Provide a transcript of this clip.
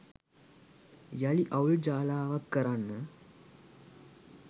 යළි අවුල් ජාලාවක් කරන්න